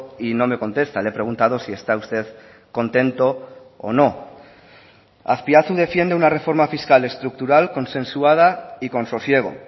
y no me contesta le he preguntado si está usted contento o no azpiazu defiende una reforma fiscal estructural consensuada y con sosiego